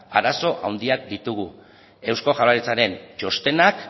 arazo handiak ditugu eusko jaurlaritzaren txostenak